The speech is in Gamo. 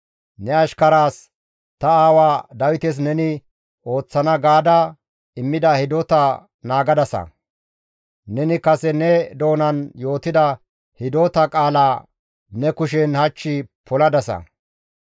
Ne ashkaraas ta aawaa Dawites neni ooththana gaada immida hidota naagadasa; neni kase ne doonan yootida hidota qaalaa ne kushen hach poladasa.